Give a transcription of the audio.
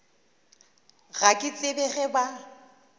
ga ke tsebe ge ba